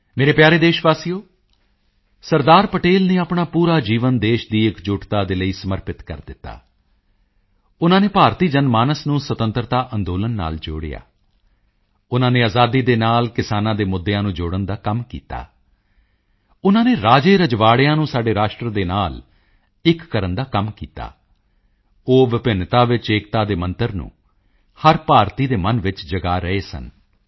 ਮੇਰੇ ਪਿਆਰੇ ਦੇਸ਼ਵਾਸੀਓ ਸਰਦਾਰ ਪਟੇਲ ਨੇ ਆਪਣਾ ਪੂਰਾ ਜੀਵਨ ਦੇਸ਼ ਦੀ ਇਕਜੁੱਟਤਾ ਦੇ ਲਈ ਸਮਰਪਿਤ ਕਰ ਦਿੱਤਾ ਉਨ੍ਹਾਂ ਨੇ ਭਾਰਤੀ ਜਨ ਮਾਨਸ ਨੂੰ ਸੁਤੰਤਰਤਾ ਅੰਦੋਲਨ ਨਾਲ ਜੋੜਿਆ ਉਨ੍ਹਾਂ ਨੇ ਆਜ਼ਾਦੀ ਦੇ ਨਾਲ ਕਿਸਾਨਾਂ ਦੇ ਮੁੱਦਿਆਂ ਨੂੰ ਜੋੜਨ ਦਾ ਕੰਮ ਕੀਤਾ ਉਨ੍ਹਾਂ ਨੇ ਰਾਜੇਰਜਵਾੜਿਆਂ ਨੂੰ ਸਾਡੇ ਰਾਸ਼ਟਰ ਦੇ ਨਾਲ ਇੱਕ ਕਰਨ ਦਾ ਕੰਮ ਕੀਤਾ ਉਹ ਵਿਭਿੰਨਤਾ ਵਿੱਚ ਏਕਤਾ ਦੇ ਮੰਤਰ ਨੂੰ ਹਰ ਭਾਰਤੀ ਦੇ ਮਨ ਵਿੱਚ ਜਗਾ ਰਹੇ ਸਨ